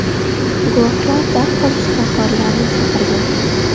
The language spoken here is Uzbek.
Guvohlar darhol shifokorlarni chaqirgan.